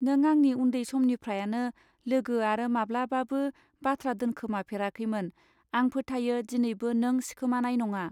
नों आंनि उन्दै समनिफ्रयानो लोगो आरो माब्लाबाबो बाथ्रादोनखोमा फेराखैमोन आं फोथायो दिनैबो नों सिखोमानाय नङा.